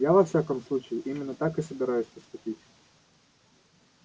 я во всяком случае именно так и собираюсь поступить